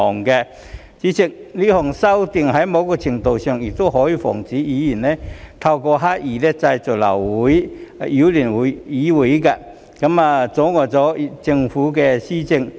代理主席，這項修訂在某程度上亦可以防止議員透過刻意製造流會來擾亂議會、阻礙政府施政。